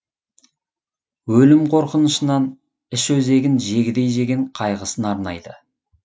өлім қорқынышынан іш өзегін жегідей жеген қайғысын арнайды